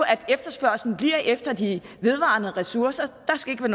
at efterspørgslen bliver efter de vedvarende ressourcer der skal